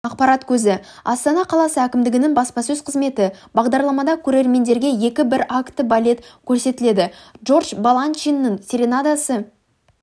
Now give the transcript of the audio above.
ақпарат көзі астана қаласы әкімдігінің баспасөз қызметі бағдарламада көрермендерге екі біракті балет көрсетіледі джордж баланчиннің серенадасы